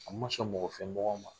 A ma sɔn mɔgɔ fɛ mɔgɔn ma.